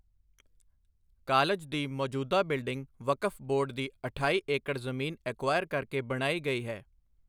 College ਦੀ ਮੌਜੂਦਾ building ਵਕਫ ਬੋਰਡ ਦੀ ਅਠਾਈ ਏਕੜ ਜਮੀਨ ਅੇੈਕੁਆਇਰ ਕਰਕੇ ਬਣਾਈ ਗਈ ਹੈ।